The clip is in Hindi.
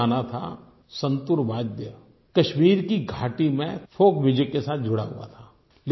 एक ज़माना था संतूर वाद्य कश्मीर की घाटी मे फोल्क म्यूजिक के साथ जुड़ा हुआ था